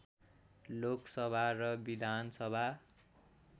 लोकसभा र विधानसभा